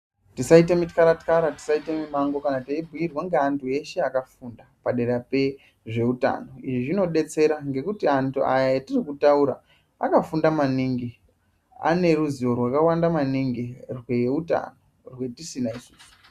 Tisaite mitxara-txara tisaite mimango kana teibhuirwa ngeantu eshe akafunda padera pezveutano. Izvi zvinobetsera ngekuti antu aya etirikutaura akafunda maningi aneruzivo rwakawanda maningi rweutano rwetisina isusu.